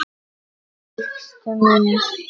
Fylgstu með!